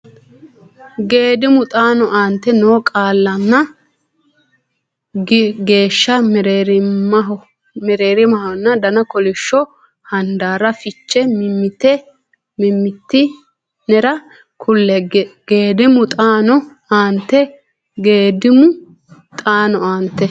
Geedimu xaano aante noo qaallanna geeshsha mereerimahonna dana kolishsho handaarra fiche mimmiti nera kulle Geedimu xaano aante Geedimu xaano aante.